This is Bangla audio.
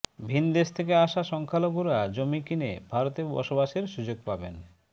ভিনদেশ থেকে আসা সংখ্যালঘুরা জমি কিনে ভারতে বসবাসের সুযোগ পাবেন